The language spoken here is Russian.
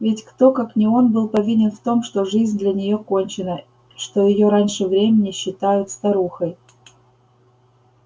ведь кто как не он был повинен в том что жизнь для нее кончена что её раньше времени считают старухой